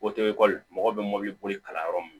mɔgɔw bɛ mɔbili boli kalan yɔrɔ min